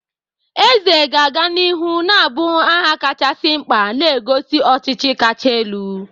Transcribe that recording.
Eze ga-aga n'ihu na-abụ aha kachasị mkpa, na-egosi ọchịchị kacha elu.